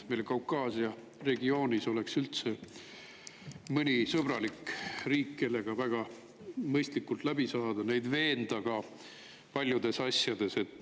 Meil Kaukaasia regioonis olla mõni sõbralik riik, kellega oleks võimalik väga mõistlikult läbi saada, neid paljudes asjades veenda.